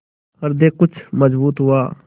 हृदय कुछ मजबूत हुआ